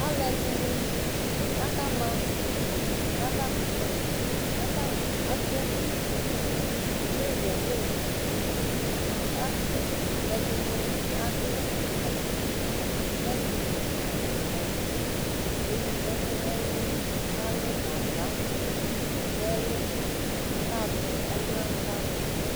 Alu ɛdini akama avakutɛKatani atɛ utu neya neyaKʋ ɛdini adʋ atakpi wɛ nʋ awu fue Kewu ɛkʋ nɛluKalʋ kagba nɛlu kakaɣatɛ ɔlʋnanu wani